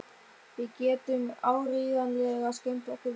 Við getum áreiðanlega skemmt okkur vel saman.